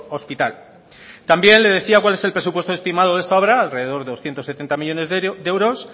hospital también le decía cuál es el presupuesto estimado de esta obra alrededor de doscientos setenta millónes de euros